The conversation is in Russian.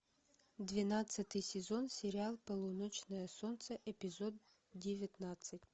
двенадцатый сезон сериал полуночное солнце эпизод девятнадцать